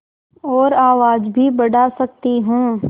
और आवाज़ भी बढ़ा सकती हूँ